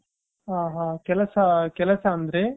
ಹ ಹ ಕೆಲಸ ಕೆಲಸ ಅಂದ್ರಿ .